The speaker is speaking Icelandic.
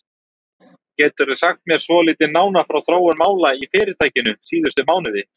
Geturðu sagt mér svolítið nánar frá þróun mála í fyrirtækinu síðustu mánuði?